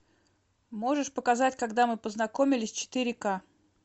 можешь показать когда мы познакомились четыре ка